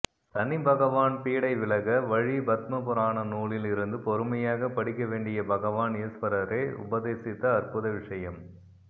சனிபகவான் பீடை விலக வழி பத்மபுராணம் நூலில் இருந்து பொறுமையாக படிக்க வேண்டிய பகவான் ஈஸ்வரரே உபதேசித்த அற்புத விஷயம்